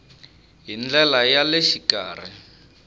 hi ndlela ya le xikarhi